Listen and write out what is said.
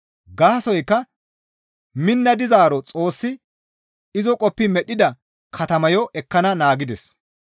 Gaasoykka minna dizaaro Xoossi izo qoppi medhdhida katamayo ekkana naagides.